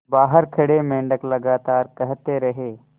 बाहर खड़े मेंढक लगातार कहते रहे